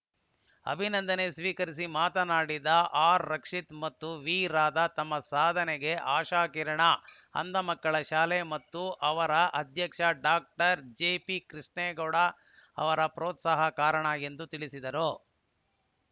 ಅಭಿನಂದನೆ ಸ್ವೀಕರಿಸಿ ಮಾತನಾಡಿದ ಆರ್‌ರಕ್ಷಿತ ಮತ್ತು ವಿರಾಧ ತಮ್ಮ ಸಾಧನೆಗೆ ಆಶಾಕಿರಣ ಅಂಧಮಕ್ಕಳ ಶಾಲೆ ಮತ್ತು ಅದರ ಅಧ್ಯಕ್ಷ ಡಾಕ್ಟರ್ ಜೆಪಿಕೃಷ್ಣೇಗೌಡ ಅವರ ಪೋ ತ್ಸಾಹ ಕಾರಣ ಎಂದು ತಿಳಿಸಿದರು